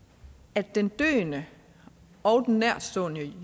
at den døende og den nærtstående